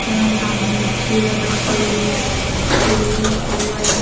यहां सामने एक चेयर रखी हुई है स्टूल रखा हुआ है।